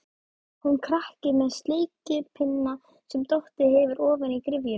Hún krakki með sleikipinna sem dottið hefur ofan í gryfjuna.